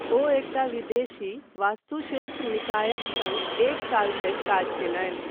ओ एकटा विदेशी वास्तुशिल्प निकायक सङ्ग एक साल धरि काज कयलनि।